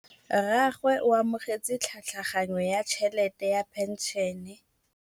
Rragwe o amogetse tlhatlhaganyô ya tšhelête ya phenšene.